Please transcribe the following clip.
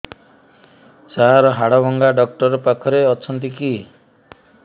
ସାର ହାଡଭଙ୍ଗା ଡକ୍ଟର ପାଖରେ ଅଛନ୍ତି କି